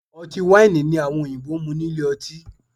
Ọtí wáìnì ni àwọn òyìnbó ń mú nílé ọtí